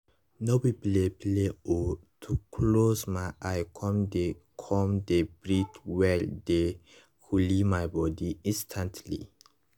no be play play o to close my eye come dey come dey breathe well dey coole my body instantly